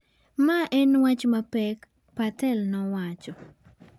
"ma en wach ma pek," Patel nowacho.